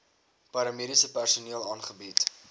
paramediese personeel aangebied